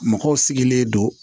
Mɔgɔw sigilen don